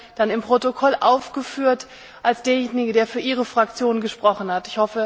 Sie werden dann im Protokoll aufgeführt als derjenige, der für Ihre Fraktion gesprochen hat.